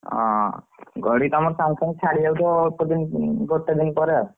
ହଁ ଗଡି କି ତମର ସାଙ୍ଗେ ସାଙ୍ଗେ ଛାଡ଼ିଯାଉଥିବ ଅଳ୍ପ ଦିନ ଗୋଟେ ଦିନ ପରେ ଆଉ।